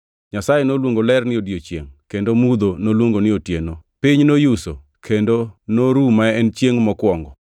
Nyasaye noluongo ler ni “odiechiengʼ” kendo mudho noluongo ni “otieno.” Piny noyuso, kendo noru ma en chiengʼ mokwongo.